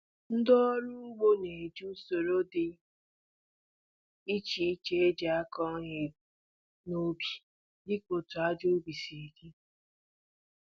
Ndị ọrụ ugbo na eji usoro dị iche iche e jì akụ ihe n'ubi díka otú aja ubi si di